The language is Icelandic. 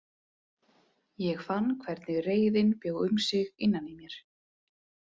Ég fann hvernig reiðin bjó um sig innan í mér.